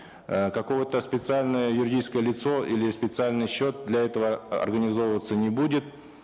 э какое то специальное юридическое лицо или специальный счет для этого организовываться не будет